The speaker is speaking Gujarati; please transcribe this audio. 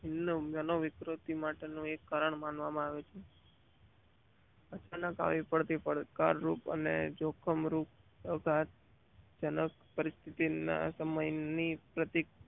મનોવિકાસ માટે નો એક કારણ માનવ માંઆવે છે. અચાનક આવી પડતી પડકાર રૂપ અને જોખમ પરિસ્થિતિ ના સમય ની